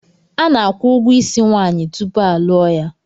Ana-akwụ ụgwọ ísí nwaanyị tupu a lụọ ya.